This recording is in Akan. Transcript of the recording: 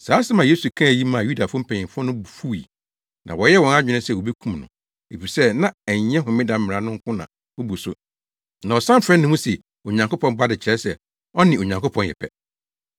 Saa asɛm a Yesu kaa yi maa Yudafo mpanyin no bo fuwii, na wɔyɛɛ wɔn adwene se wobekum no, efisɛ na ɛnyɛ homeda mmara no nko na obu so na na ɔsan frɛ ne ho se Onyankopɔn Ba de kyerɛ sɛ, ɔne Onyankopɔn yɛ pɛ.